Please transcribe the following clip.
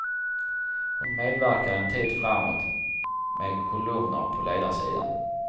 Hon medverkar en tid framåt med kolumner på ledarsidan.